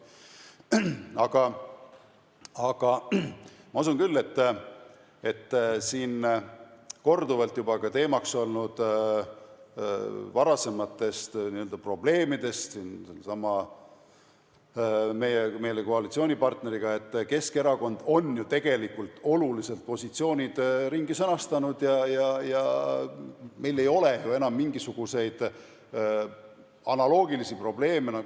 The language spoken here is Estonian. Aga ma usun küll, et kui siin on korduvalt teemaks olnud varasemad probleemid sellesama meie koalitsioonipartneriga, siis Keskerakond on tegelikult olulised positsioonid ringi sõnastanud ja meil ei ole ju enam mingisuguseid analoogilisi probleeme.